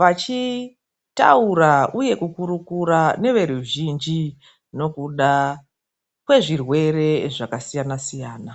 vachitaura uye kukurukura neveruzhinji nekuda kwezvirwere zvakasiyana siyana.